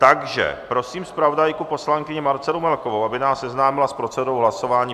Takže prosím zpravodajku poslankyni Marcelu Melkovou, aby nás seznámila s procedurou hlasování.